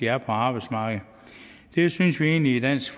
er på arbejdsmarkedet det synes vi egentlig i dansk